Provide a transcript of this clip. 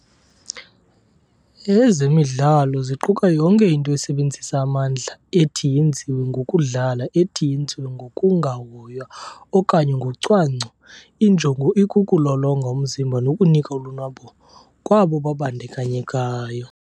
Ezemidlalo ziquka yonke into esebenzisa amandla ethi yenziwe ngokudlala ethi yenziwe ngokungahoywa okanye ngocwangco injongo ikuku lolonga umzimba nokunika ulonwabo kwabo babandakanyekayo.